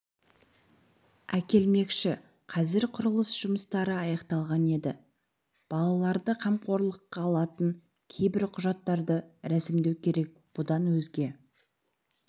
әкелмекші қазір құрылыс жұмыстары аяқталған енді балаларды қамқорлыққа алатын кейбір құжаттарды рәсімдеу керек бұдан өзге